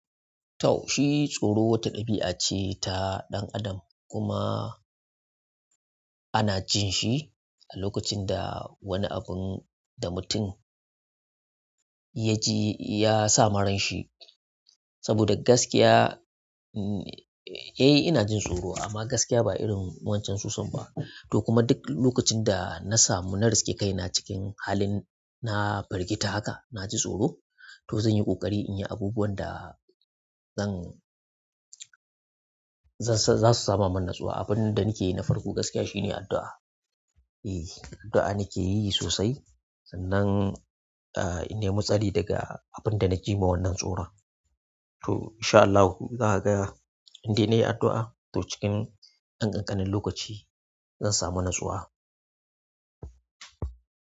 Tau shi tsoro wata ɗabi'a ce ta ɗan adam kuma ana jinshi a lokacin da wani abun da mutum ya ji ya sama ranshi saboda gaskiya, eh ina jin tsoro amma gaskiya ba irin wancan sosan ba. To kuma duk lokacin da na samu na riske kaina cikin halin na firgita haka na ji tsoro. To zan yi ƙoƙari in yi abubuwan da zan za su sama min natsuwa. Abin da nakeyi na farko gaskiya shine addu'a. Addu'a nakeyi sosai sannan in nemi tsari daga abinda naji ma wannan tsoron to in sha Allahu za ka ga in dai nayi addu'a. To cikin ɗan ƙanƙanin lokaci zan samu natsuwa.